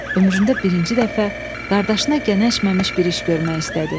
Ömründə birinci dəfə qardaşına gənəşməmiş bir iş görmək istədi.